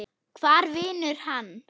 Hvar vinnur hann?